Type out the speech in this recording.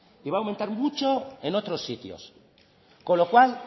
y va a aumentar mucho en otros sitios con lo cual